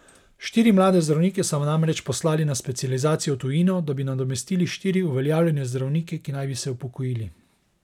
Štiri mlade zdravnike so namreč poslali na specializacijo v tujino, da bi nadomestili štiri uveljavljene zdravnike, ki naj bi se upokojili.